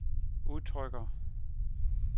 udtrykker